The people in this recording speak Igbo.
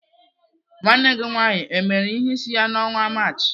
Nwanne gị nwaanyị emere ihe isi ya n' ọnwa Maachị?